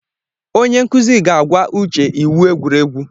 Onye nkuzi ga-agwa Uche iwu egwuregwu.